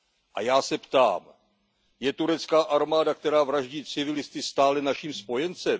A já se ptám Je turecká armáda, která vraždí civilisty, stále naším spojencem?